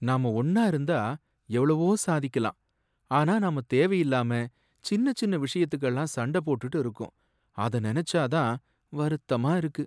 நாம ஒன்னா இருந்தா எவ்வளவோ சாதிக்கலாம் ஆனா நாம தேவையில்லாம சின்ன சின்ன விஷயத்துக்கெல்லாம் சண்ட போட்டுட்டு இருக்கோம். அத நெனச்சா தான் வருத்தமா இருக்கு.